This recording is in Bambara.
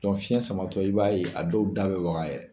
fiɲɛ samatɔ i b'a ye a dɔw da bɛ waga